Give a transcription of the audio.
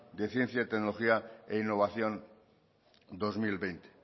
de ciencia tecnología e innovación dos mil veinte